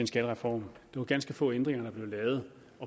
skattereform det var ganske få ændringer der blev lavet